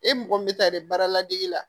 E mɔgɔ min bɛ taa dɛ baara ladege la